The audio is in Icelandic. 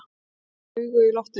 Sé augu í loftinu.